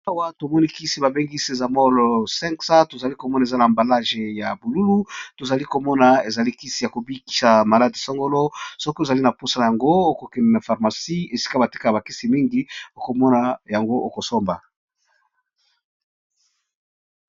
Awa tomoni Kisi bambengi sexamol Siku obeli okeyi na pharmacy Izo bela bapesi you Kisi oyo